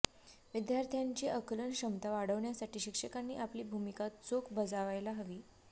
विद्यार्थ्यांची आकलन क्षमता वाढविण्यासाठी शिक्षकांनी आपली भूमिका चोख बजावायला हवी